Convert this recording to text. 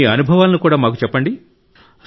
మీ అనుభవాలను కూడా మాకు చెప్పండి